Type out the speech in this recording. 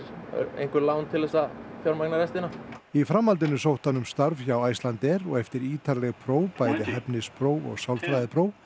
einhver lán til að fjármagna restina í framhaldinu sótti hann um starf hjá Icelandair og eftir ítarleg próf bæði hæfnispróf og sálfræðipróf